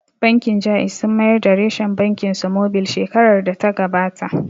Bankin Jaiz sun mayar da reshen bankin su mobil shekarar da ta gabata